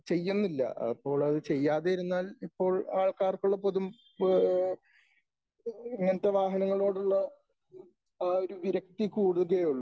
ചെയ്യുന്നില്ല. അപ്പോൾ അത് ചെയ്യാതെ ഇരുന്നാൽ ഇപ്പോൾ ആൾക്കാർക്കുള്ള പൊതു ഇങ്ങനത്തെ വാഹനനങ്ങളോടുള്ള ആ ഒരു വിരക്തി കൂടുകയെ ഉള്ളു .